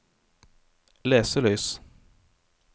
leselys